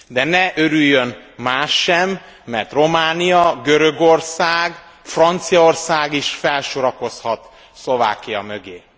De ne örüljön más sem, mert Románia, Görögország, Franciaország is felsorakozhat Szlovákia mögé.